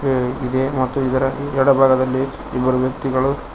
ಇದೆ ಮತ್ತು ಇದರ ಎಡಬಾಗದಲ್ಲಿ ಇಬ್ಬರು ವ್ಯಕ್ತಿಗಳು--